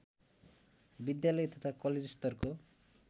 विद्यालय तथा कलेजस्तरको